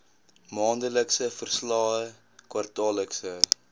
maandelikse verslae kwartaallikse